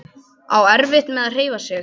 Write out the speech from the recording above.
Á erfitt með að hreyfa sig.